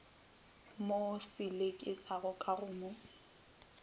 mo selekišago ka go mo